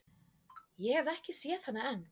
Ég hef ekki séð hana enn.